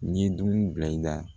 N ye dugu bila i la